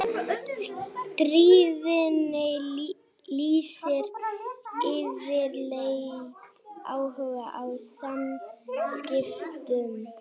Stríðnin lýsir yfirleitt áhuga á samskiptum.